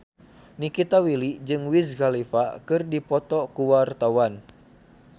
Nikita Willy jeung Wiz Khalifa keur dipoto ku wartawan